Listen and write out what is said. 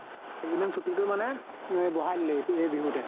এই কেইদিন ছুটি টো মানে ৱে বঢ়াই দিলে এতি এই বিহুতে।